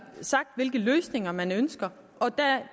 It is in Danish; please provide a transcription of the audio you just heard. sagt hvilke løsninger man ønsker og da